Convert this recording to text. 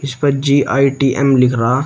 इस पर जी_आई_टी_एम लिख रहा--